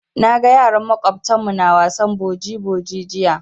Na ga yaran maƙwabtan mu na wasan boji boji jiya.